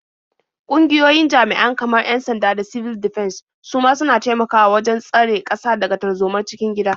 Ƙungiyoyin jami'an kamar 'yan-sanda da sibil difens su ma suna taimakawa wajen tsare ƙasa daga tarzomar cikin gida.